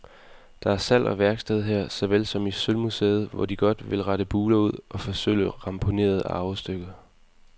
Der er salg og værksted her, såvel som i sølvmuseet, hvor de godt vil rette buler ud og forsølve ramponerede arvestykker.